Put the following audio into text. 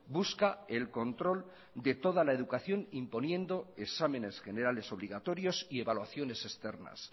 busca el control de toda la educación imponiendo exámenes generales obligatorios y evaluaciones externas